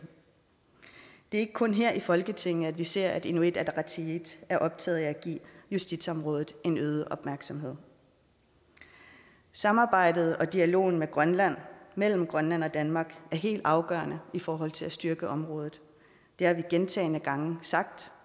er ikke kun her i folketinget vi ser at inuit ataqatigiit er optaget af at give justitsområdet en øget opmærksomhed samarbejdet og dialogen med grønland mellem grønland og danmark er helt afgørende i forhold til at styrke området det har vi gentagne gange sagt